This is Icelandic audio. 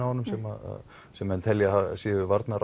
á honum sem sem menn telja að séu